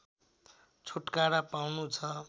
छुटकारा पाउनुछ